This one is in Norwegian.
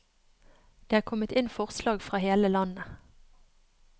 Det er kommet inn forslag fra hele landet.